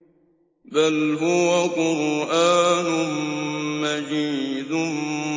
بَلْ هُوَ قُرْآنٌ مَّجِيدٌ